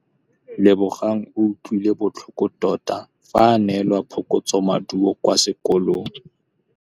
Lebogang o utlwile botlhoko tota fa a neelwa phokotsômaduô kwa sekolong.